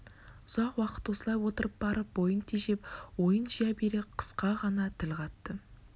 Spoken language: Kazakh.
үзақ уақыт осылай отырып барып бойын тежеп ойын жия бере қысқа ғана тіл қатты